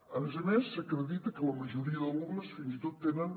a més a més s’acredita que la majoria d’alumnes fins i tot tenen